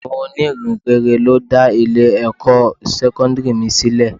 Àwọn oní ìhìnrere ló dá Ilé ẹ̀kọ́ sẹ́kọ́ńdírì mi sílẹ̀.